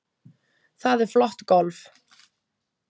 Það er flott golf.